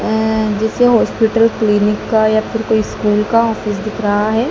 अअ जैसे hospital clinic का या फिर कोई स्कूल का ऑफिस दिख रहा है।